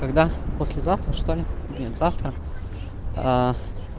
тогда послезавтра что ли блин завтра